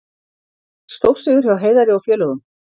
Stórsigur hjá Heiðari og félögum